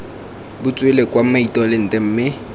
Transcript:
bo tswele kwa mitolente mme